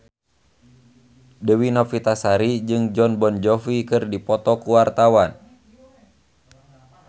Dewi Novitasari jeung Jon Bon Jovi keur dipoto ku wartawan